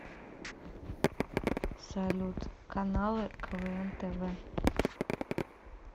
салют каналы квн тв